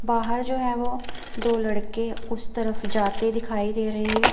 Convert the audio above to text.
बाहर जो है वो दो लड़के उस तरफ जाते दिखाई दे रहे हैं।